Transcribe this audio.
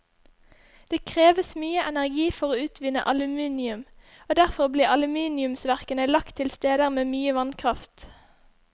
Det kreves mye energi for å utvinne aluminium, og derfor ble aluminiumsverkene lagt til steder med mye vannkraft.